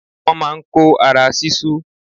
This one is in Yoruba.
Wọ́n má a n kó ara sísú